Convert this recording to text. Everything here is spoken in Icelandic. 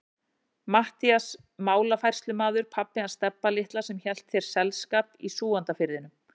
Matthías málafærslumaður, pabbi hans Stebba litla sem hélt þér selskap í Súgandafirðinum.